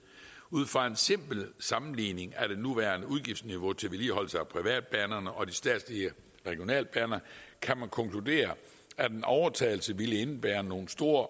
ud fra en simpel sammenligning af det nuværende udgiftsniveau til vedligeholdelse af privatbanerne og de statslige regionalbaner kan man konkludere at en overtagelse vil indebære nogle store